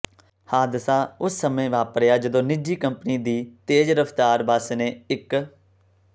ਹਾਦਸਾ ਉਸ ਸਮੇਂ ਵਾਪਰਿਆ ਜਦੋਂ ਨਿੱਜੀ ਕੰਪਨੀ ਦੀ ਤੇਜ਼ ਰਫ਼ਤਾਰ ਬੱਸ ਨੇ ਇੱਕ